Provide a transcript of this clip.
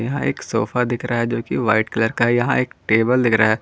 यहां एक सोफा दिख रहा है जो की वाइट कलर का है यहां एक टेबल दिख रहा है।